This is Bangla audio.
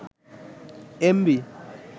এমবি